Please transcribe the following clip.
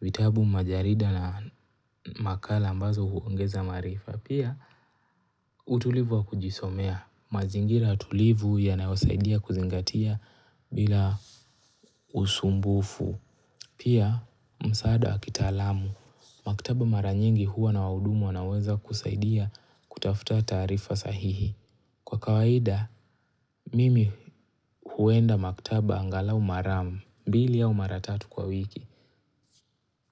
vitabu majarida na makala ambazo huongeza maarifa. Pia utulivu wa kujisomea, mazingira tulivu yanayosaidia kuzingatia bila usumbufu. Pia msaada wa kitaalamu, maktaba mara nyingi huwa na wahudumu wanaoweza kusaidia kutafuta taarifa sahihi. Kwa kawaida, mimi huenda maktaba angalau maram mbili au mara tatu kwa wiki.